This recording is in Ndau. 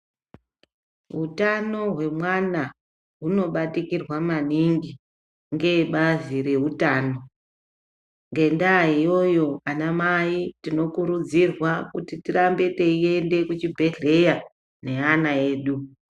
Utano hwemwana hunobatikirwa maningi ngeebazi reutano ngendaa iyoyo anamai tinokurudzirwa kuti tirambe teiende kuchibhedhlera nevana vedu.